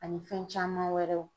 Ani fɛn caman wɛrɛw.